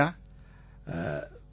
Nitesh Gupta ஆமாம்யா